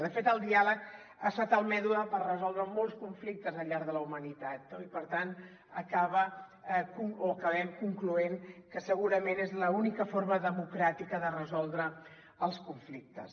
de fet el diàleg ha estat el mètode per resoldre molts conflictes al llarg de la humanitat no i per tant acaba o acabem concloent que segurament és l’única forma democràtica de resoldre els conflictes